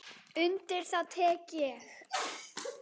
Undir það tek ég.